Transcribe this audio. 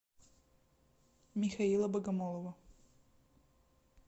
михаила богомолова